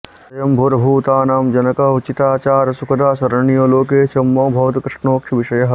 स्वयम्भूर्भूतानां जनक उचिताचारसुखदः शरण्यो लोकेशो मम भवतु कृष्णोऽक्षिविषयः